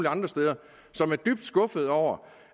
andre steder som er dybt skuffede over